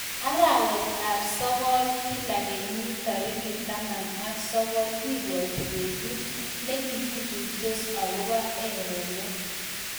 Arawet ap sokol kila kenyiit tarikit taman ak sokol kibwatii betut nekikikuitos akoboo erenet